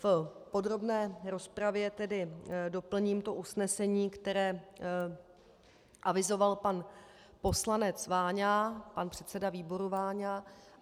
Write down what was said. V podrobné rozpravě tedy doplním to usnesení, které avizoval pan poslanec Váňa, pan předseda výboru Váňa.